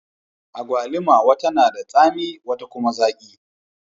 Agwalima wata na da tsami, wata kuma zaki.